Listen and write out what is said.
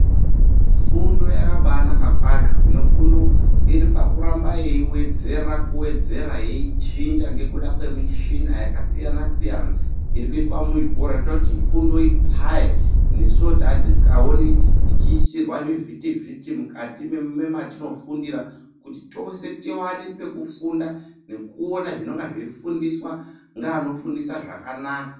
Fundo yakambanaka kwazvo hino fundo iripakuramba yeiwedzera kuwedzera yeichinja ngekuda kwemichina yakasiyana siyana irikuiswa muzvikora irikuita kuti fundo ipfaye nesiwo tatisikaoni tichiisirwa zvivhitivhiti mukati mematinofundira kuti tose tiwane pekufunda nekuona zvinonga zveifundiswa ngeanofundisa zvakanaka .